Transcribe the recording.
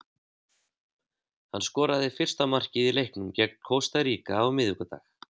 Hann skoraði fyrsta markið í leiknum gegn Kosta Ríka á miðvikudag.